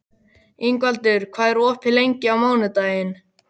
Ingvaldur, hvað er opið lengi á mánudaginn?